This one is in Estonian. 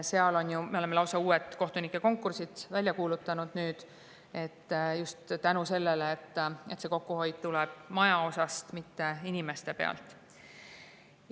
Me oleme nüüd lausa uued kohtunike konkursid välja kuulutanud just tänu sellele, et kokkuhoid tuleb maja pealt, mitte inimeste pealt.